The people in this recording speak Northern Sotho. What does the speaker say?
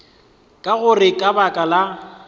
ka gore ka baka la